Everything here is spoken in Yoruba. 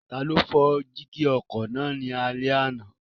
Taló fọ́ jígí ọkọ̀ náà ní alẹ́ àná?